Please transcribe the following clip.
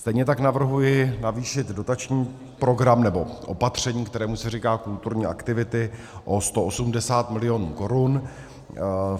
Stejně tak navrhuji navýšit dotační program, nebo opatření, kterému se říká kulturní aktivity o 180 milionů korun.